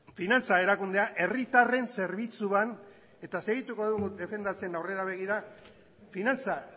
finantza erakundea herritarren zerbitzuan eta segituko dugu defendatzen aurrera begira finantza